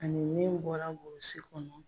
Ani min bɔra burusi kɔnɔ.